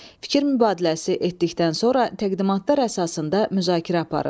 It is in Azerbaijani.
Fikir mübadiləsi etdikdən sonra təqdimatlar əsasında müzakirə aparın.